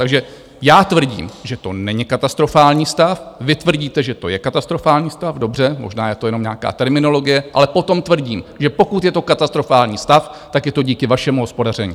Takže já tvrdím, že to není katastrofální stav, vy tvrdíte, že to je katastrofální stav, dobře, možná je to jenom nějaká terminologie, ale potom tvrdím, že pokud je to katastrofální stav, tak je to díky vašemu hospodaření.